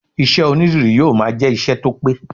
Iṣẹ́ onídìrí yóò máa jẹ ìṣe tó pẹ́.